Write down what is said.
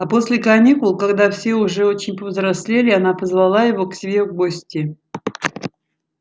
а после каникул когда все уже очень повзрослели она позвала его к себе в гости